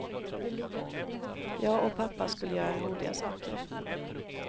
Jag och pappa skulle göra roliga saker.